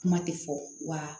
Kuma tɛ fɔ wa